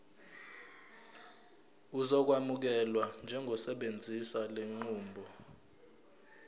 uzokwamukelwa njengosebenzisa lenqubo